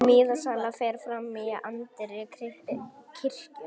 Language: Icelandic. Miðasala fer fram í anddyri kirkjunnar